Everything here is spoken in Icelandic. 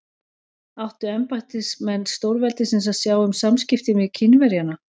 Áttu embættismenn stórveldisins að sjá um samskiptin við Kínverjana?